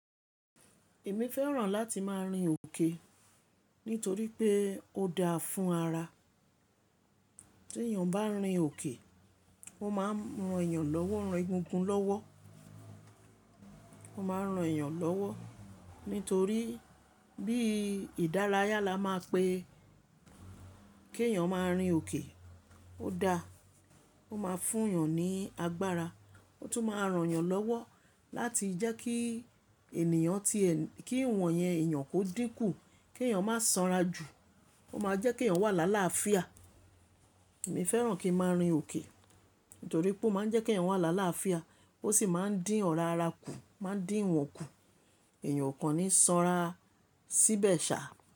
Èmi fẹ́ràn láti máa rin òkè nítorí pé ó dáa fún ara. Tí èèyàn bá ń rin òkè, ó máa ń ran èèyàn lọ́wọ́, ran egungun lọ́wọ́. Ó máa ń ran èèyàn lọ́wọ́ nítorí bí ìdárayá la máa pe kí èèyàn máa rin òkè. Ó dáa, ó máa fún èèyàn ní agbára. Ó tún máa ran èèyàn lọ́wọ́ láti jẹ́ kí ènìyàn ti ẹ-- kí ìwọ̀n yẹn èèyàn kó dínkù, kí èèyàn má sanra jù. Ó máa jẹ́ kí èèyàn wà lála fía. Èmi fẹ́ràn kí n máa rin òkè nítorí pé ó máa ń jẹ́ kí èèyàn wà lála fía ó sì máa ń dín ọ̀rá ara kù, máa ń dín ìwọ̀n kù. Èèyàn kò ní sanra síbẹ̀ ṣá.